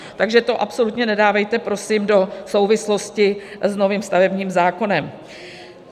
Takže to absolutně nedávejte prosím do souvislosti s novým stavebním zákonem.